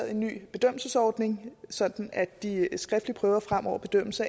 en ny bedømmelsesordning sådan at de skriftlige prøver fremover bedømmes